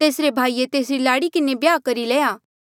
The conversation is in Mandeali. तेसरे भाईये तेसरी लाड़ी किन्हें ब्याह करी लेया